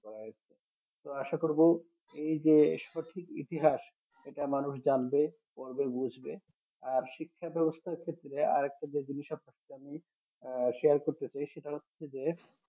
করা হয়েছে তো আশা করবো এই যে সঠিক ইতিহাস এটা মানুষ জানবে পড়বে বুঝবে আর শিক্ষা ব্যবস্থার ক্ষেত্রে আর একটা যে জিনিস আপনাকে আমি আহ share করতেছি সেটা হচ্ছে যে